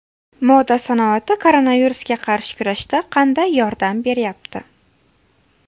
Moda sanoati koronavirusga qarshi kurashda qanday yordam beryapti?